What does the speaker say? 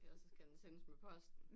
Ellers så skal den sendes med posten